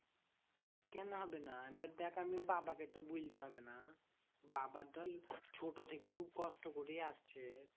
কেন হবে না? এবার দেখ আমি বাবাকে তো বলতে হবে না? বাবার ধর এই ছোট থেকে খুব কষ্ট করে আসছে।